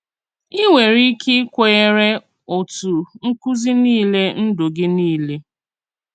Ì nwerè íké ìkwènyèrè òtù nkùzí niile ndú gị niile.